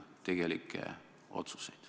Palun!